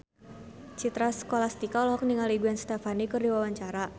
Citra Scholastika olohok ningali Gwen Stefani keur diwawancara